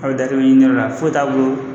Aw bɛ ɲiniyɔrɔ la foyi t'a bolo